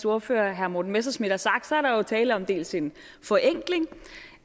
ordfører herre morten messerschmidt har sagt at der jo er tale om dels en forenkling